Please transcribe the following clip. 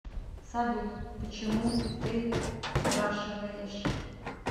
салют почему ты спрашиваешь